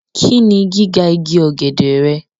Kini giga igi ogede rẹ?